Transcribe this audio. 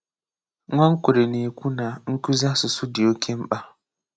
Nwankwere na-ekwù na nkúzi asụ̀sụ́ dị́ oke mkpa.